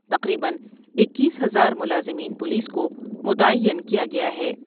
تقریبا اکیس ہزار ملازمین پولیس کو متعین کیا گیا ہے ۔